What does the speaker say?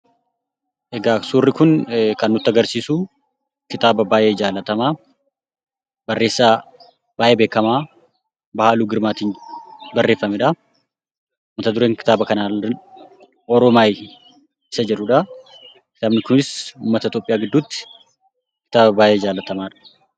Suurri Kun kan nutti argisiisu, kitaaba baayyee jaallatamaa barreessaa baayyee beekamaa Baahiluu Girmaatiin barreeffamedha. Mata dureen kitaaba kanaa Oromaayaa isa jedhudha. Kitaabni kunis uummata Itoophiyaa gidduutti kitaaba baayyee jaallatamaadha.